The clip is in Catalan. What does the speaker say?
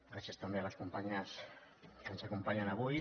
gràcies també a les companyes que ens acompanyen avui